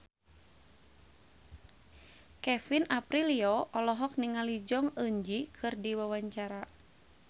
Kevin Aprilio olohok ningali Jong Eun Ji keur diwawancara